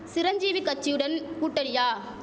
சிரஞ்சீவி கச்சியுடன் கூட்டணியா